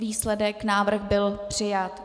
Výsledek - návrh byl přijat.